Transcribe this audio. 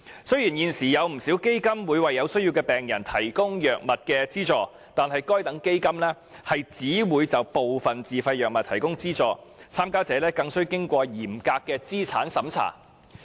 雖然現時有不少基金會為有需要的病人提供藥物資助，但該等基金只會就部分自費藥物提供資助，參加者更須通過嚴格的資產審查。